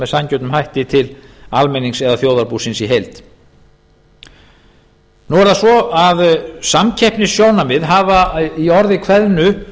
sanngjörnum hætti til almennings eða þjóðarbúsins í heild nú er það svo að samkeppnissjónarmið hafa í orði kveðnu